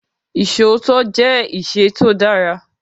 Isòótọ́ jẹ́ ìṣẹ tó dára.